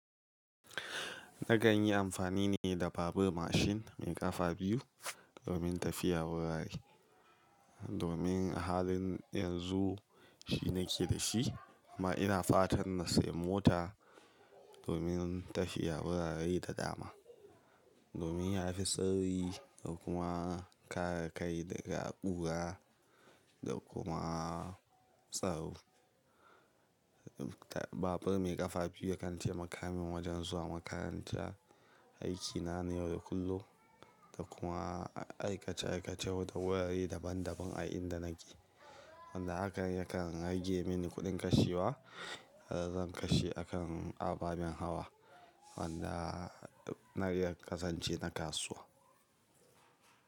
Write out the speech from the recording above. Na kanyii amfani ne da babbar mashin mai ƙafa biyu domin tafiya wurare. Domin a halin yanzu shi nake da shi amma ina fatan na sayi mota domin tafiya wurare da dama. Domin ya fi suari da kuma kare kai daga ƙura da kuma tsaro. Babur mai ƙafa biyu yakan tai makamin wajen zuwa makaranta, aikina na yau da kullum da kuma aikace aikace wata wurare daban daban a inda nake. Wanda hakan yakan rage mini kuɗin kashewa, zan kashe a kan ababen hawa wanda na iya ƙazance na kasuwa.